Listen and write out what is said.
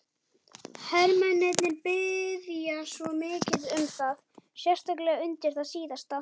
Hermennirnir biðja svo mikið um það, sérstaklega undir það síðasta.